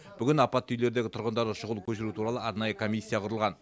бүгін апатты үйлердегі тұрғындарды шұғыл көшіру туралы арнайы комиссия құрылған